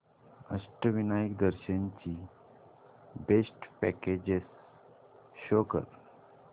अष्टविनायक दर्शन ची best packages show कर